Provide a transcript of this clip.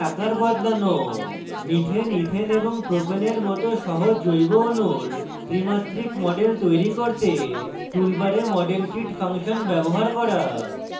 methane ethane এবং propane এর মত সহজ জৈব অণুর ত্রিমাত্রিক models তৈরি করতে টুলবারে model kit ফাংশন bar করা